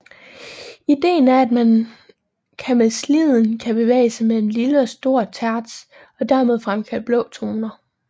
Ideen er at man kan med sliden kan bevæge sig mellem lille og stor terts og dermed fremkalde blå toner